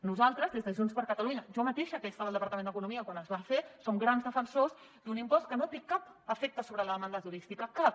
nosaltres des de junts per catalunya jo mateixa que ja estava al departament d’economia quan es va fer som grans defensors d’un impost que no té cap efecte sobre la demanda turística cap